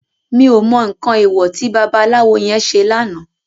Mi ó mò nkán éwò ti babalawo yèn sé làná